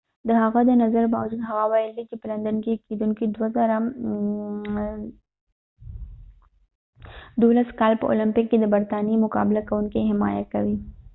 د هغه د نظر باوجود هغه ويلی دي چې په لندن کې کېدونکې د 2012 کال په اولمپک کې به د برطانیې مقابله کوونکې حمایه کوي